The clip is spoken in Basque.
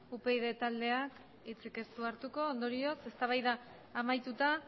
upyd taldeak hitzik ez du hartuko ondorioz eztabaida amaituta